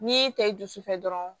N'i y'i ta i dusu fɛ dɔrɔn